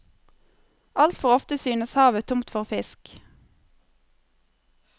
Altfor ofte synes havet tomt for fisk.